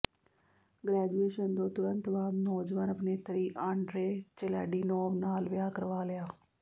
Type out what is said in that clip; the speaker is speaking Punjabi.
ਗ੍ਰੈਜੂਏਸ਼ਨ ਤੋਂ ਤੁਰੰਤ ਬਾਅਦ ਨੌਜਵਾਨ ਅਭਿਨੇਤਰੀ ਆਂਡ੍ਰੇ ਚੇਲਾਡੀਨੋਵ ਨਾਲ ਵਿਆਹ ਕਰਵਾ ਲਿਆ